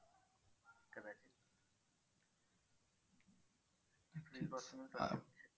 एप्रिलपासूनच चालू होईल.